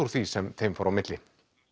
af því sem þeim fór á milli